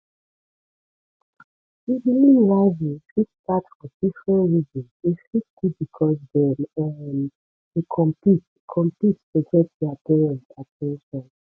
sibling rivalry fit start for different reasons e fit be because dem um dey compete compete to get parent at ten tion